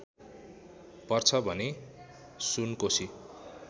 पर्छ भने सुनकोशी